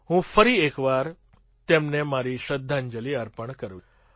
હું ફરી એક વાર તેમને મારી શ્રદ્ધાંજલિ અર્પણ કરું છું